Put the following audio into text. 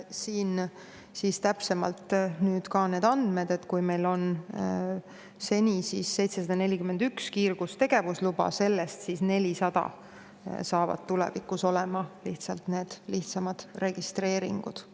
Toon ka täpsemad andmed: meil on seni 741 kiirgustegevusluba ja nendest 400 saavad tulevikus olema lihtsamad registreeringud.